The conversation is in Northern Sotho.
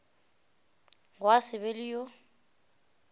gwa se be le yo